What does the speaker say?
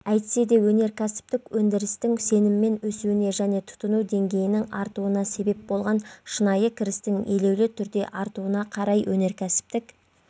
әйтсе де өнеркәсіптік өндірістің сеніммен өсуіне және тұтыну деңгейінің артуына себеп болған шынайы кірістің елеулі түрде артуына қарай өнеркәсіптік